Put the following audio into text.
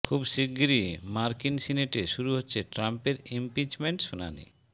খুব শিগগিরই মার্কিন সিনেটে শুরু হচ্ছে ট্রাম্পের ইমপিচমেন্ট শুনানি